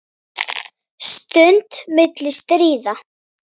Stund milli stríða.